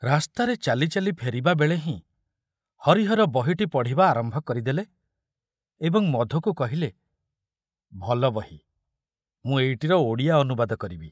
ରାସ୍ତାରେ ଚାଲି ଚାଲି ଫେରିବା ବେଳେ ହିଁ ହରିହର ବହିଟି ପଢ଼ିବା ଆରମ୍ଭ କରିଦେଲେ ଏବଂ ମଧୁକୁ କହିଲେ, ଭଲ ବହି, ମୁଁ ଏଇଟିର ଓଡ଼ିଆ ଅନୁବାଦ କରିବି।